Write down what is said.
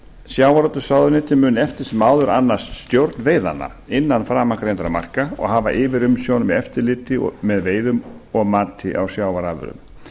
sjávarútvegsráðuneyti mun eftir sem áður annast stjórn veiðanna innan framangreindra marka og hafa yfirumsjón með eftirliti með veiðum og mati á sjávarafurðum